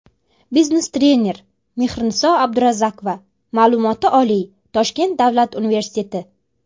Biznes trener: Mexriniso Abdurazakova Ma’lumoti oliy Toshkent Davlat universiteti.